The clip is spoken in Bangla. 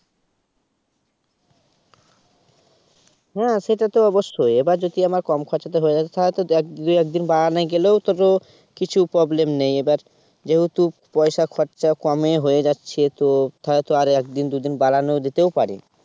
হ্যা সেটাই তো আবশ্যই এবার যদি আমার কম খরচাতে হয়ে যায় এক দিন দুই দিন বাড়ান গেলেও তত কিছু problem নেই যেহেতু পয়সার খরচা কমে হয়ে যাচ্ছে তো হয়তো একদিন দুই দিন বাড়ান যেতেও পারে